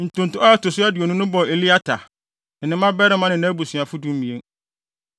Ntonto a ɛto so aduonu no bɔɔ Eliata, ne ne mmabarima ne nʼabusuafo (12)